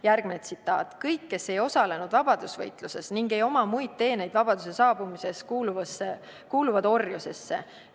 " Järgmine tsitaat: "Kõik, kes ei osalenud vabadusvõitluses ning ei oma muid teeneid vabaduse saabumises, kuuluvad orjusse.